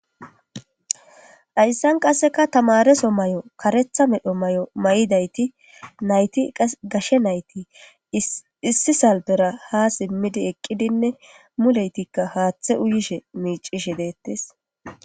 Ayssan qasseka tamareso may'o karetha medho may'o may'idayti nayti gashe nayti issi salbera ha simmidi eqqidinne muleytikka haaththe uyishe miicishe deettes.